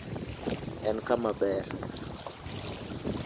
En kama ber.